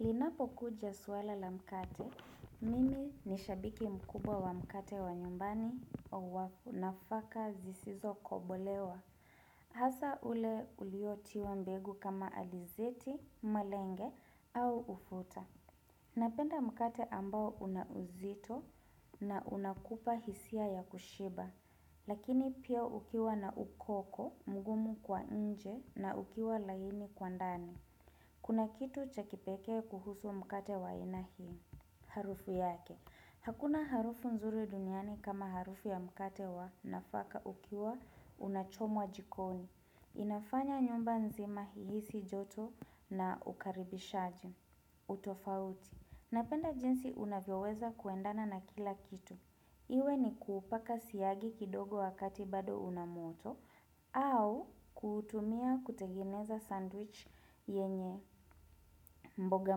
Linapo kuja suala la mkate, mimi nishabiki mkubwa wa mkate wa nyumbani au wa nafaka zisizo kobolewa. Hasa ule uliotiwa mbegu kama alizeti, malenge au ufuta. Napenda mkate ambao unauzito na unakupa hisia ya kushiba. Lakini pia ukiwa na ukoko, mgumu kwa inje na ukiwa laini kwa ndani. Kuna kitu cha kipekee kuhusu mkate wa aina hii, harufu yake. Hakuna harufu nzuri duniani kama harufu ya mkate wa nafaka ukiwa unachomwa jikoni. Inafanya nyumba nzima ihisi joto na ukaribishaji, utofauti. Napenda jinsi unavyoweza kuendana na kila kitu. Iwe ni kuupaka siyagi kidogo wakati bado unamoto au kutumia kutengeneza sandwich yenye mboga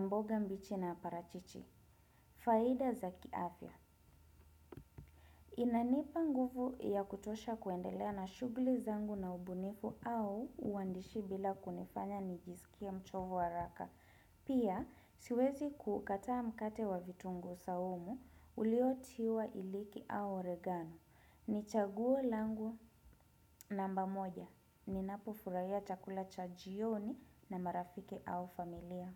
mboga mbichi na parachichi. Faida za kiafya. Inanipa nguvu ya kutosha kuendelea na shughuli zangu na ubunifu au uandishi bila kunifanya nijisikie mchovu haraka. Pia siwezi kukataa mkate wa vitungu saumu uliotiwa iliki au oregano. Ni chaguo langu namba moja, ninapofurahia chakula chajioni na marafiki au familia.